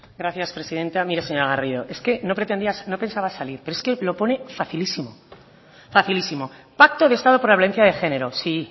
gracias presidenta mire señora garrido es que no pretendía no pensaba salir pero es que lo pone facilísimo pacto de estado por la violencia de género sí